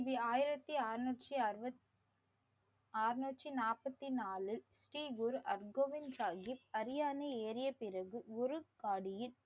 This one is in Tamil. கி. பி. ஆயிரத்தி அறுநூற்றி அறுபத்தி அறனூற்றி நாப்பத்தி நாலு ஸ்ரீ குரு அர்கோவிந்த் சாஹீப் அரியணை ஏறிய பிறகு குருட்பாடியில்